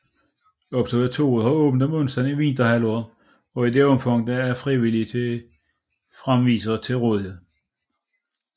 Observatoriet har åbent om onsdagen i vinterhalvåret i det omfang der er frivillige fremvisere til rådighed